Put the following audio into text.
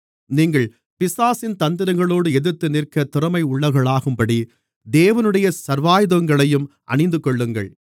நீங்கள் பிசாசின் தந்திரங்களோடு எதிர்த்து நிற்கத் திறமையுள்ளவர்களாகும்படி தேவனுடைய சர்வாயுதங்களையும் அணிந்துகொள்ளுங்கள்